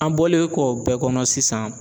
An bɔlen kɔ o bɛɛ kɔnɔ sisan.